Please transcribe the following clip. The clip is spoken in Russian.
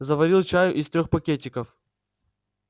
заварил чаю из трёх пакетиков